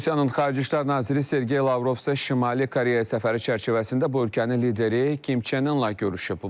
Rusiyanın Xarici İşlər naziri Sergey Lavrov Şimali Koreya səfəri çərçivəsində bu ölkənin lideri Kim Çenlə görüşüb.